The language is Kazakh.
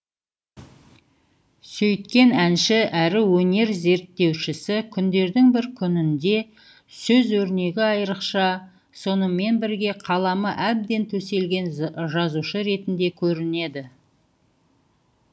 сөйткен әнші әрі өнер зерттеушісі күндердің бір күнінде сөз өрнегі айрықша сонымен бірге қаламы әбден төселген жазушы ретінде көрінеді